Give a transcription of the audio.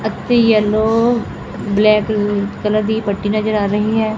ਐਥੇ yellow black colour ਦੀ ਪੱਟੀ ਨਜ਼ਰ ਆ ਰਹੀ ਹੈ।